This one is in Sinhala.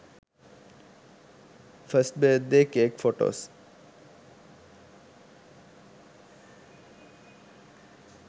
first birthday cake photos